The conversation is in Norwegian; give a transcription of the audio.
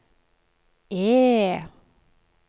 E